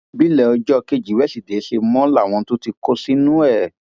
bílẹ ọjọ kejì wíṣídẹẹ ṣe mọ làwọn tún tí tí kò ṣẹnu ẹ